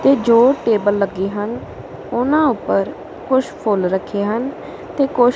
ਤੇ ਜੋ ਟੇਬਲ ਲੱਗੀ ਹਨ ਓਹਨਾ ਊਪਰ ਕੁਛ ਫੁੱਲ ਰੱਖੇ ਹਨ ਤੇ ਕੁਛ--